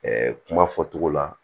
kuma fɔtogo la